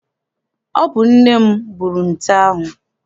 Ọ bụ nne m gburu nte ahụ.